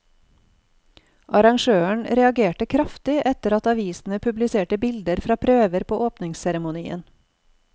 Arrangøren reagerte kraftig etter at avisene publiserte bilder fra prøver på åpningsseremonien.